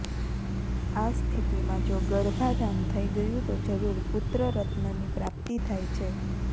આ સ્થિતિમાં જો ગર્ભાધાન થઈ ગયુ તો જરૂર પુત્ર રત્નની પ્રાપ્તિ થાય છે